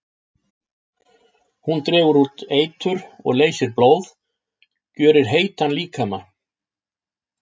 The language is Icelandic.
Hún dregur út eitur og leysir blóð, gjörir heitan líkama.